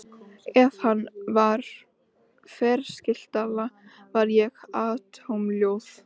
Ef hann var ferskeytla var ég atómljóð.